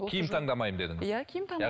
киім таңдамаймын дедіңіз